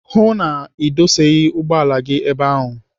Hụụ na Ị dụsaghị ụgbọala gị ebe ahụ!